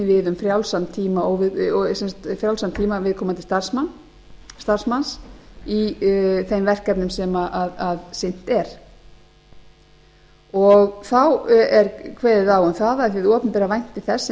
við um frjálsan tíma viðkomandi starfsmanns í þeim verkefnum sem sinnt er þá er kveðið á um það að hið opinbera vænti þess sem